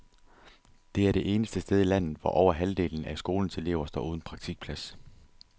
Det er det eneste sted i landet, hvor over halvdelen af skolens elever står uden praktikplads.